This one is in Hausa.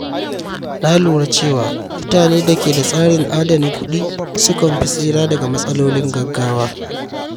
Na lura cewa mutane da ke da tsarin adana kuɗi sukan fi tsira daga matsalolin gaggawa.